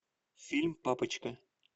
фильм папочка